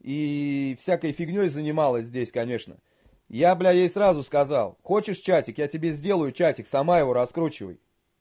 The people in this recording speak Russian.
ии всякой фигней занималась здесь конечно я бля ей сразу сказал хочешь чатик я тебе сделаю чатик сама его раскручивай